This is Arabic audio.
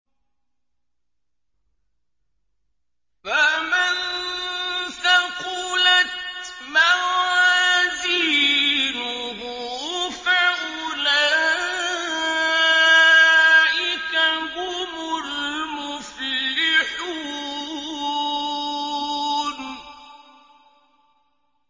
فَمَن ثَقُلَتْ مَوَازِينُهُ فَأُولَٰئِكَ هُمُ الْمُفْلِحُونَ